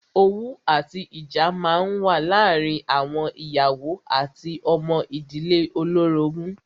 Owú àti ìjà máa ń wà láàárín àwọn ìyàwó àti ọmọ ìdílé olórogún.